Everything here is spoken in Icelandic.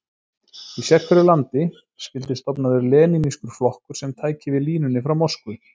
Í sérhverju landi skyldi stofnaður lenínískur flokkur sem tæki við línunni frá Moskvu.